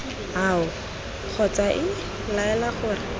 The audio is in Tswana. ao kgotsa iii laela gore